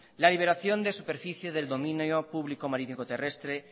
la liberación de superficie del dominio público marítimo terrestre